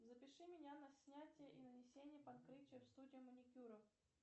запиши меня на снятие и нанесение покрытия в студию маникюра